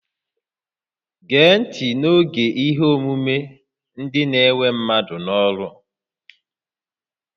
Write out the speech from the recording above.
Gee ntị n'oge ihe ọmụmụ, ndị na-ewe mmadụ n'ọrụ!